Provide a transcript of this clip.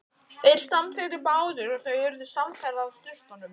Þeir samþykktu báðir og þau urðu samferða að sturtunum.